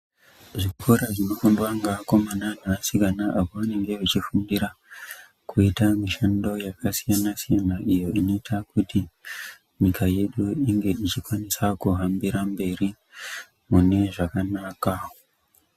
Zvikora zvinofundwa ngeakomana neasikana kwavanenge vachifundira kuita mishando yakasiyana-siyana iyo inoita kuti nyika yedu inge ichikwanisa kuhambira mberi mune zvakanaka.